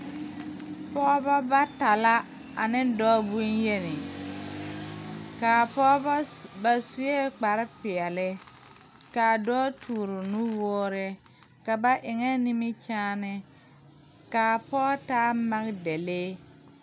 Pɔgeba bata la ane dɔɔ bonyeni kaa pɔgeba ba sue kpar peɛle kaa dɔɔ toore nuwoore ka ba eŋe nimikyaanee kaa pɔge taa magedalee